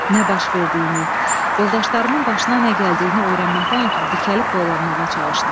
Nə baş verdiyini, yoldaşlarımın başına nə gəldiyini öyrənməkdən ötrü dikəlib boylanmağa çalışdım.